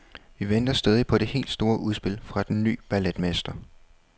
Vi venter stadig på det helt store udspil fra den ny balletmester.